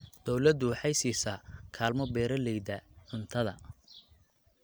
Dawladdu waxay siisaa kaalmo beeralayda beeralayda cuntada.